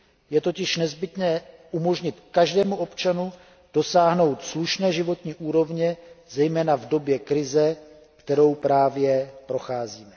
Je totiž nezbytné umožnit každému občanu dosáhnout slušné životní úrovně, zejména v době krize, kterou právě procházíme.